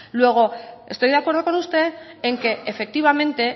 luego estoy de acuerdo con usted en que efectivamente